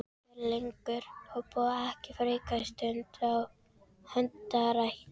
Af hverju leggur þú ekki frekar stund á hundarækt?